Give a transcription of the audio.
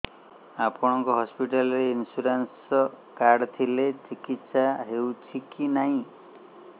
ଆପଣଙ୍କ ହସ୍ପିଟାଲ ରେ insurance card ଥିଲେ ଚିକିତ୍ସା ହେଉଛି କି ନାଇଁ